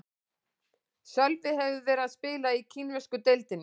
Sölvi hefur verið að spila í kínversku deildinni.